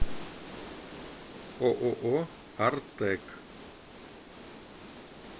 ооо артэк